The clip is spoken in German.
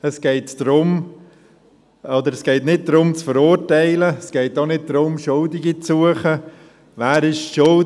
Es geht auch nicht darum, zu verurteilen oder Schuldige zu suchen im Sinne von «Wer ist schuld?